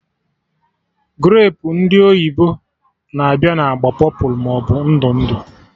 Grapu ndị oyibo na-abịa na agba pọpụlụ maọbụ ndụ ndụ